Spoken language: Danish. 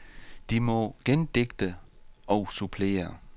De må gendigte og supplere.